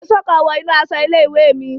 Èsó kan wọ inú aṣọ ilé-ìwé mi